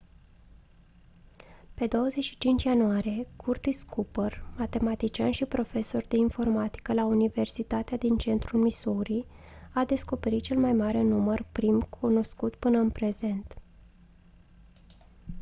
pe 25 ianuarie curtis cooper matematician și profesor de informatică la universitatea din central missouri a descoperit cel mai mare număr prim cunoscut până în prezent